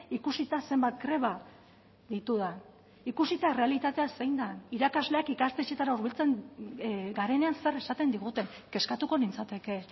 ikusita zenbat greba ditudan ikusita errealitatea zein den irakasleak ikastetxeetara hurbiltzen garenean zer esaten diguten kezkatuko nintzateke